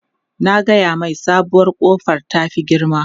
Na gaya mai sabuwar kofar ta fi girma.